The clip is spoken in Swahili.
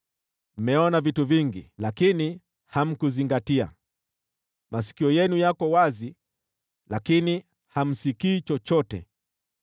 Mmeona vitu vingi, lakini hamkuzingatia; masikio yenu yako wazi, lakini hamsikii chochote.”